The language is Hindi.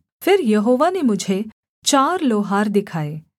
फिर यहोवा ने मुझे चार लोहार दिखाए